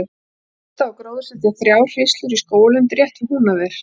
Fyrst á að gróðursetja þrjár hríslur í skógarlundi rétt við Húnaver.